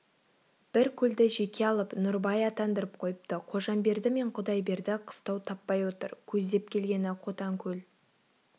бір көлді жеке алып нұрыбай атандырып қойыпты қожамберді мен құдайберді қыстау таппай отыр көздеп келгені қотанкөл